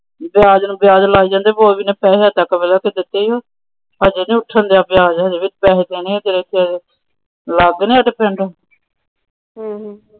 ਵਿਆਜ ਨੂੰ ਵਿਆਜ ਲਾਇ ਜਾਂਦੇ